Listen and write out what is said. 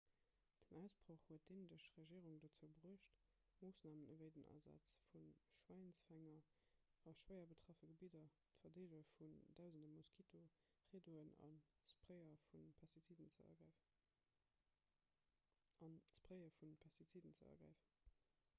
den ausbroch huet d'indesch regierung dozou bruecht moossnamen ewéi den asaz vu schwäinsfänger a schwéier betraffene gebidder d'verdeele vun dausende moskitoriddoen an d'spraye vu pestiziden ze ergräifen